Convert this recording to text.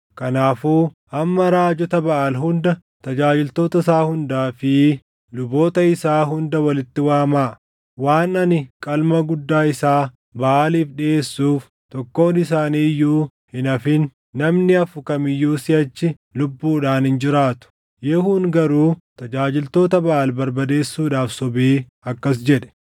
Kanaafuu amma raajota Baʼaal hunda, tajaajiltoota isaa hundaa fi luboota isaa hunda walitti waamaa. Waan ani qalma guddaa isaa Baʼaaliif dhiʼeessuuf tokkoon isaanii iyyuu hin hafin. Namni hafu kam iyyuu siʼachi lubbuudhaan hin jiraatu.” Yehuun garuu tajaajiltoota Baʼaal barbadeesuudhaaf sobee akkas jedhe.